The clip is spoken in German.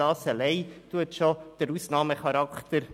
Dies allein bezeugt schon den Ausnahmecharakter.